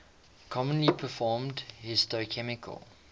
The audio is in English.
commonly performed histochemical